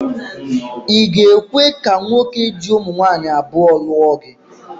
I ga-ekwe ka nwoke ji ụmụnwaanyị abụọ lụọ gị?